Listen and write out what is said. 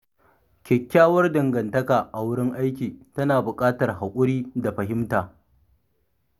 Kyakkyawar dangantaka a wurin aiki tana buƙatar haƙuri da fahimta.